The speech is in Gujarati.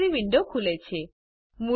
લાઇબ્રેરી વિન્ડો ખૂલે છે